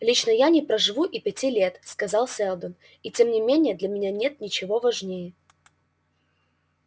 лично я не проживу и пяти лет сказал сэлдон и тем не менее для меня нет ничего важнее